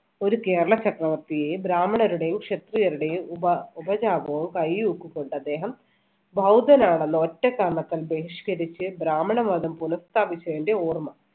ഒരു കേരള ചക്രവർത്തിയെ ബ്രാഹ്മണരുടെയും ക്ഷത്രിയരുടെയും ഉപ~ഉപചാപവും കയ്യൂക്കും കൊണ്ട് അദ്ദേഹം ബൌദ്ധനാണെന്ന ഒറ്റ കാരണത്താൽ ബഹിഷ്കരിച്ച് ബ്രാഹ്മണ മതം പുനസ്ഥാപിച്ചതിന്‍റെ ഓർമ്മ